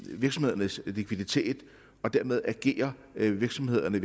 virksomhedernes likviditet og dermed agerer virksomhederne i